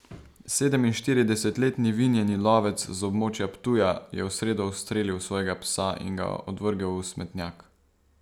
Sedeminštiridesetletni vinjeni lovec z območja Ptuja je v sredo ustrelil svojega psa in ga odvrgel v smetnjak.